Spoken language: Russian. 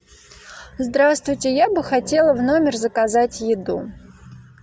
здравствуйте я бы хотела в номер заказать еду